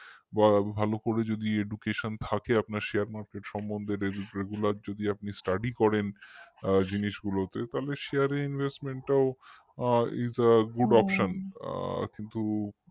বা ভালো করে যদি education থাকে আপনার share market সম্বন্ধে regular র যদি আপনি study করেন আ জিনিসগুলোতে তবে share রে investment টাও isagoodoption আ কিন্তু